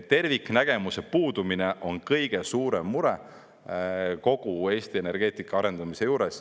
Terviknägemuse puudumine on kõige suurem mure kogu Eesti energeetika arendamise juures.